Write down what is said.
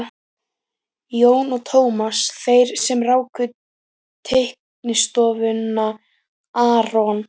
Jón og Tómas, þeir sem ráku teiknistofuna aRON